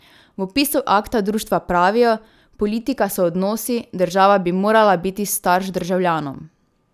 V opisu akta društva pravijo: 'Politika so odnosi, država bi morala biti starš državljanom.